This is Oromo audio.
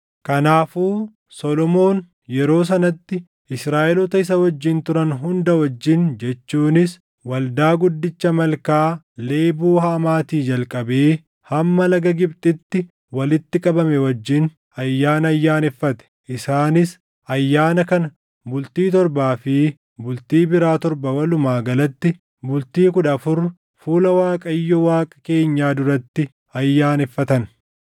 Kanaafuu Solomoon yeroo sanatti Israaʼeloota isa wajjin turan hunda wajjin jechuunis waldaa guddicha Malkaa Leeboo Hamaatii jalqabee hamma laga Gibxitti walitti qabame wajjin ayyaana ayyaaneffate. Isaanis ayyaana kana bultii torbaa fi bultii biraa torba walumaa galatti bultii kudha afur fuula Waaqayyo Waaqa keenyaa duratti ayyaaneffatan.